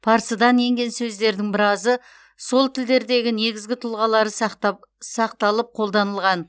парсыдан енген сөздердің біразы сол тілдердегі негізгі тұлғалары сақталып қолданылған